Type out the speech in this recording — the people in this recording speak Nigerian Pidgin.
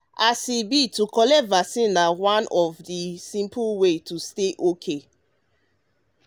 as e be to to collect vaccine na one of the simple way to stay okay.